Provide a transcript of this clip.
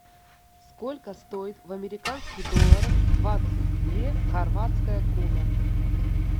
сколько стоит в американских долларах двадцать две хорватская куна